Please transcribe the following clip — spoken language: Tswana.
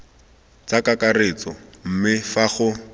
tsa kakaretso mme fa go